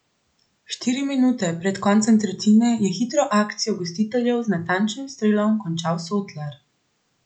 Štiri minute pred koncem tretjine je hitro akcijo gostiteljev z natančnim strelom končal Sotlar.